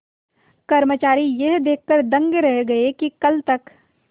कर्मचारी यह देखकर दंग रह गए कि कल तक